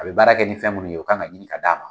A bɛ baara kɛ ni fɛn minnu ye o kan ka ɲini ka d'a ma.